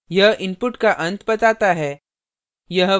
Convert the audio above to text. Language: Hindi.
यह input का अंत बताता है